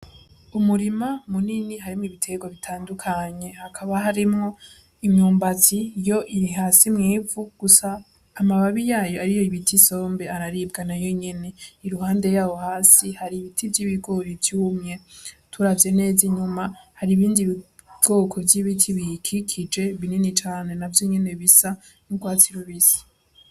Umurima munini harimwo ibitegwa bitandukanye, hakaba harimwo imyumbati yo iri hasi mw'ivu gusa amababi yayo ariyo bita isombe araribwa nayo nyene, iruhande yaho hasi hari ibiti vy'ibigori vyumye, turavye neza inyuma hari ibindi bwoko bw'ibiti biyikikije binini cane navyo nyene bisa n'ugwatsi rubisi.